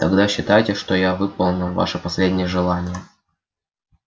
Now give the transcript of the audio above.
тогда считайте что я выполнил ваше последнее желание